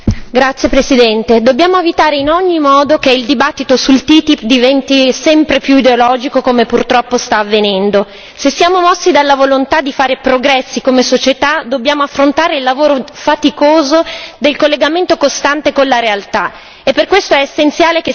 Signor Presidente, onorevoli colleghi, dobbiamo evitare in ogni modo che il dibattito sul TTIP diventi sempre più ideologico, come purtroppo sta avvenendo. Se siamo mossi dalla volontà di fare progressi come società, dobbiamo affrontare il lavoro faticoso del collegamento costante con la realtà.